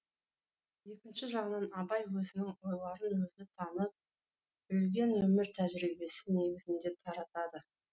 екінші жағынан абай өзінің ойларын өзі танып білген өмір тәжірибесі негізінде таратады